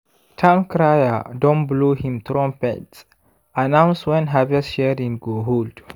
town crier don blow him trumpet announce when harvest sharing go hold.